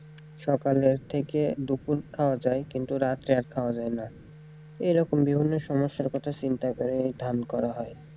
সকালের থেকে দুপুর খাওয়া যায় কিন্তু রাত্রে আর খাওয়া যায়না এরকম বিভিন্ন সমস্যার কথা চিন্তা করে ধান করা হয়।